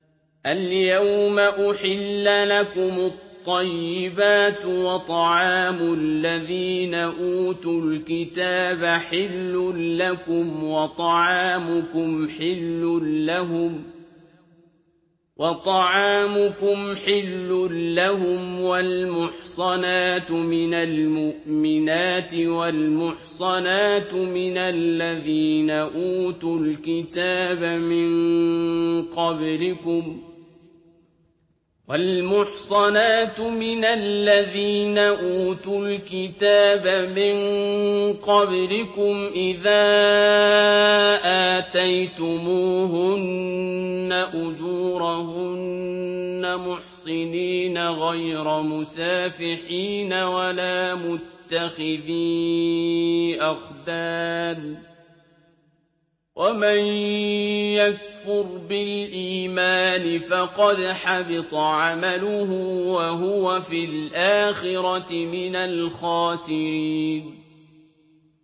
الْيَوْمَ أُحِلَّ لَكُمُ الطَّيِّبَاتُ ۖ وَطَعَامُ الَّذِينَ أُوتُوا الْكِتَابَ حِلٌّ لَّكُمْ وَطَعَامُكُمْ حِلٌّ لَّهُمْ ۖ وَالْمُحْصَنَاتُ مِنَ الْمُؤْمِنَاتِ وَالْمُحْصَنَاتُ مِنَ الَّذِينَ أُوتُوا الْكِتَابَ مِن قَبْلِكُمْ إِذَا آتَيْتُمُوهُنَّ أُجُورَهُنَّ مُحْصِنِينَ غَيْرَ مُسَافِحِينَ وَلَا مُتَّخِذِي أَخْدَانٍ ۗ وَمَن يَكْفُرْ بِالْإِيمَانِ فَقَدْ حَبِطَ عَمَلُهُ وَهُوَ فِي الْآخِرَةِ مِنَ الْخَاسِرِينَ